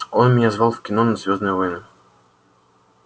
он меня звал в кино на звёздные войны